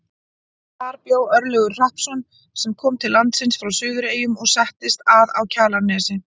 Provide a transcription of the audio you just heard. Þar bjó Örlygur Hrappsson sem kom til landsins frá Suðureyjum og settist að á Kjalarnesi.